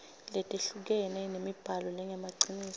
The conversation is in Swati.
letehlukene temibhalo lengemaciniso